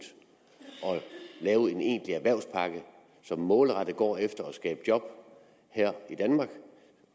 lave en egentlig erhvervspakke på som målrettet går efter at skabe job her i danmark